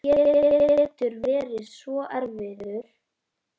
Hann getur verið svo erfiður